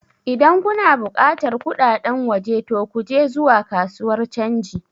Idan kuna buƙatar kudaden waje to ku je zuwa kasuwar canji